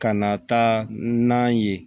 Ka na taa nan ye